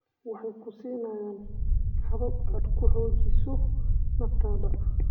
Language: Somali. Waxay ku siinayaan habab aad ku xoojiso naftada.